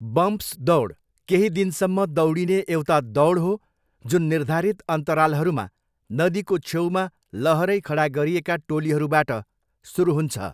Bumps दौड केही दिनसम्म दौडिने एउटा दौड हो जुन निर्धारित अन्तरालहरूमा नदीको छेउमा लहरै खडा गरिएका टोलीहरूबाट सुरु हुन्छ।